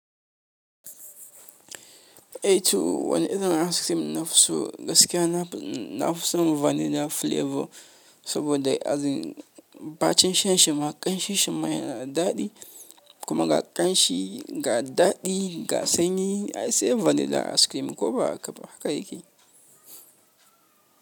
Eh to wani irin ice cream na fi so gaskiya na fi son vanilla flavor saboda ba cin shan shima ƙanshi shima yana da daɗi kuma ga ƙanshi ga daɗi ga sanyi ai se vanilla ice cream ko ba haka yake?